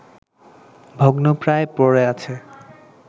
ভগ্নপ্রায় পড়ে আছে